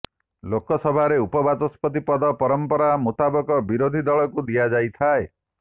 ଲୋକସଭାରେ ଉପବାଚସ୍ପତି ପଦ ପରମ୍ପରା ମୁତାବକ ବିରୋଧୀ ଦଳଙ୍କୁ ଦିଆଯାଇଥାଏ